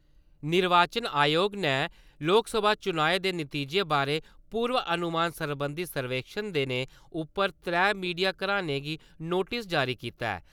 निर्वाचन आयोग ने लोकसभा चुनाएं दे नतीजे बारै पूर्व अनुमान सरबंधी सर्वेक्खन देने उप्पर त्रै मीडिया घरानें गी नोटिस जारी कीता ऐ।